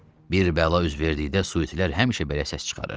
Bir bəla üz verdikdə suitilər həmişə belə səs çıxarır.